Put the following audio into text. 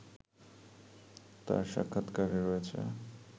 তার সাক্ষাৎকারে রয়েছে